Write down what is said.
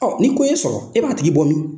ni ko y'e sɔrɔ e b'a tigi bɔ min ?